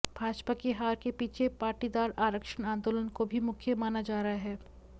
भाजपा की हार के पीछे पाटीदार आरक्षण आंदोलन को भी मुख्य माना जा रहा है